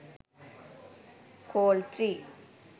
col 3